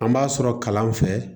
An b'a sɔrɔ kalan fɛ